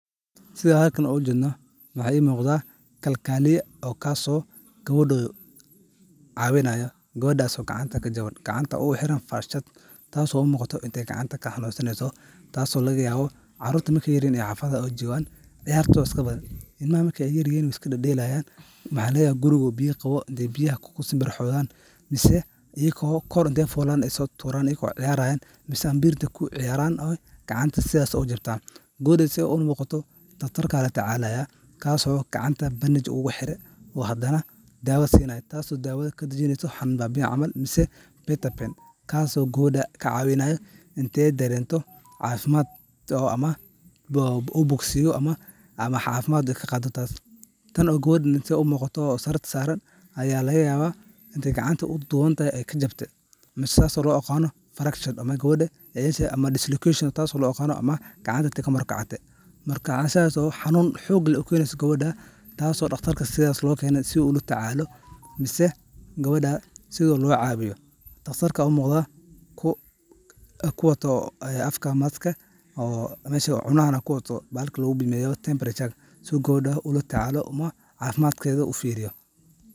Sidhan halkan oga jedno waxa i muqda kalkaliya oo kaso gabado cawinaya , gabadas oo gacanta kajawan gacanta ugu xiran fashad taso u muqata intay gacanta ka xanunsaneyso , taso lagayabo carurta markay yaryihin oo xafadaha ay jogan ciyartoda iska badan, ilmaha markay yaryihin iska dadelayan waxa laga yabaa guriga oo biya qabo intay biyaha kusimbirihodan mise iyako kor intey fulan isaso turaan iyago ciyarayan mise ambir intey kuciyaraan gacanta sidhas uga jabtan. Gabadan sidha u muqataa daktarka latacalaya kaso gacanta bandage ugu xire , hadana dawo sinayaa taso dawo kadajinesa xanun babiye camal mise bataben kaso gabada kacawinaya intey darento cafimaad ama u bogsiyo ama cafimad aya ka qado taas tan oo gabada sarirta saran intey u muqato aya lagayaba intey gacanta u duwan tahay iney kajabte mise saso lo aqano fractured ama dislocation taso lo aqano iney gacanta kamur kacate . Marka arin sidhaso oo gabada xanun xog leh u keneso sas o daktarka lo kene si ula tacalo mise gabada sidaa lo cawiyo daktarka aya u muqda ku kuwato afka maska oo cunahana kuwata bahalka lagu bimeyo temperatureda si u gabada ula tacala ama cafimadkeda u firiyo.